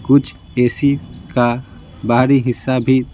कुछ एसी का बाहरी हिस्सा भी--